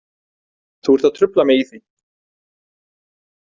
Þú ert að trufla mig í því.